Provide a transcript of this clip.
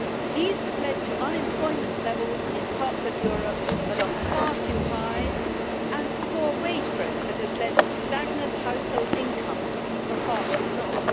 These have led to unemployment levels in parts of Europe that are far too high and poor wage growth that has led to stagnant household incomes for far too long.